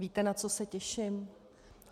Víte, na co se těším?